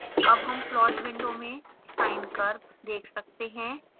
अब हम plot window में sine curve देख सकते हैं